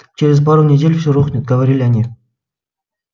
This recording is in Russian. через пару недель все рухнет говорили они